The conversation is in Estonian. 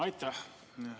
Aitäh!